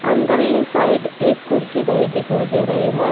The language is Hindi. अंदरली साइड एक कुर्सी धरी दिखाई दे रही है।